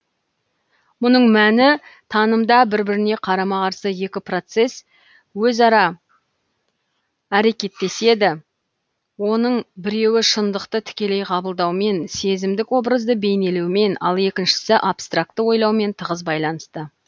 мұның мәні танымда бір біріне қарама қарсы екі процесс өзара әрекеттеседі оның біреуі шындықты тікелей қабылдаумен сезімдік образды бейнелеумен ал екіншісі абстракты ойлаумен тығыз байланысты